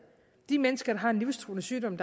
de mennesker har en livstruende sygdom